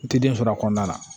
N ti den sɔrɔ a kɔnɔna na